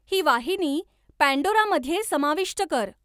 ही वाहिनी पॅन्डोरामध्ये समाविष्ट कर